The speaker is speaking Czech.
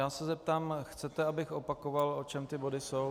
Já se zeptám, chcete, abych opakoval, o čem ty body jsou?